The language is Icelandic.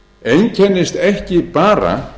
einkennist ekki bara